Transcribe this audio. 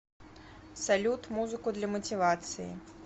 салют музыку для мотивации